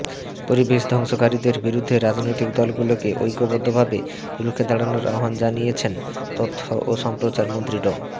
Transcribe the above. পরিবেশ ধ্বংসকারীদের বিরুদ্ধে রাজনৈতিক দলগুলোকে ঐক্যবদ্ধভাবে রুখে দাঁড়ানোর আহ্বান জানিয়েছেন তথ্য ও সম্প্রচার মন্ত্রী ড